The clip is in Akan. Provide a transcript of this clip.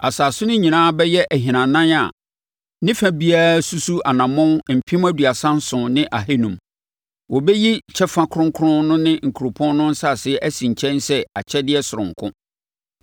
Asase no nyinaa bɛyɛ ahinanan a ne fa biara susu anammɔn mpem aduasa nson ne ahanum (37,500). Wobɛyi kyɛfa kronkron no ne kuropɔn no asase asi nkyɛn sɛ akyɛdeɛ sononko.